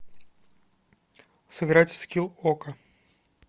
сыграть в скилл око